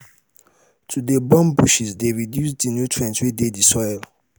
to de live for areas wey get plenty industrial chemical waste de very poisionous